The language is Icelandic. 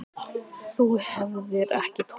Þú hefðir ekki tollað þar.